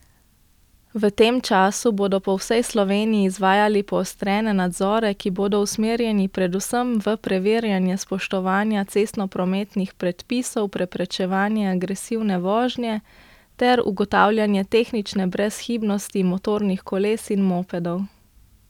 V tem času bodo po vsej Sloveniji izvajali poostrene nadzore, ki bodo usmerjeni predvsem v preverjanje spoštovanja cestnoprometnih predpisov, preprečevanje agresivne vožnje ter ugotavljanje tehnične brezhibnosti motornih koles in mopedov.